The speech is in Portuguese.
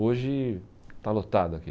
Hoje está lotado aqui.